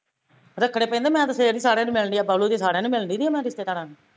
ਰੱਖਣੇ ਪੈਂਦੇ ਮੈਂ ਤੇ ਫੇਰ ਵੀ ਸਾਰਿਆ ਨੂੰ ਮਿਲਦੀ ਆ ਬੱਬਲੂ ਦੇ ਸਾਰਿਆ ਨੂੰ ਮਿਲਦੀ ਨੀ ਮੈਂ ਰਿਸਤੇਦਾਰਾ ਨੂੰ